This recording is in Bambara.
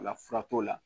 O la fura t'o la